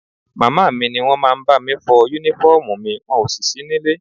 Màmá mi ni wọ́n máa ń bá mi fọ Únífọ́ọ̀mù ́mi wọn ò sì sí nílé